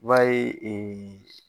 I b'a ye